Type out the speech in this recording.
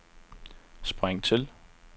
spring til